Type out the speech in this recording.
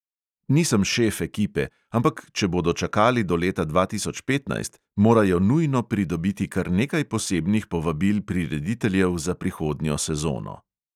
Nisem šef ekipe, ampak če bodo čakali do leta dva tisoč petnajst, morajo nujno pridobiti kar nekaj posebnih povabil prirediteljev za prihodnjo sezono.